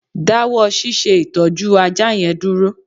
Dáwọ́ ṣíṣe ìtọ́jú ajá yẹn dúró